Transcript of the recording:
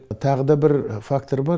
тағы да бір фактор бар